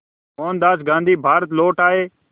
मोहनदास गांधी भारत लौट आए